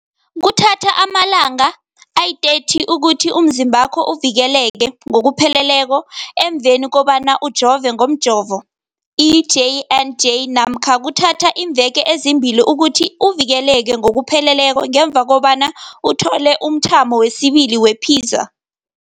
Kuthatha amalanga ama-30 ukuthi umzimbakho uvikeleke ngokupheleleko emveni kobana ujove ngomjovo i-J and J namkha kuthatha iimveke ezimbili ukuthi uvikeleke ngokupheleleko ngemva kobana uthole umthamo wesibili wePfizer.